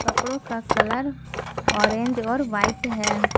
कपड़ों का colour orange और वाइट है।